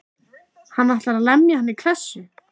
Hann ætlaði að lemja hann í klessu.